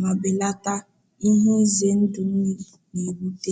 ma belata ihe ize ndụ mmiri na-ebute.